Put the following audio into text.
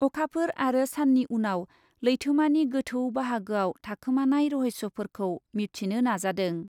अखाफोर आरो सान्नि उनाव लैथोमानि गोथौ बाहागोआव थाखोमानाय रहस्यफोरखौ मिबथिनो नाजादों।